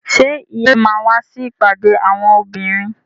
Ṣé ìyálóde máa wá sí ìpàdé àwọn obìnrin?